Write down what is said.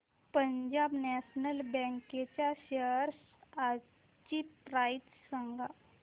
Punjab national bank च्या shares आजची price सांगा